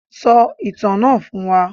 Sọ ìtàn náà fún wa.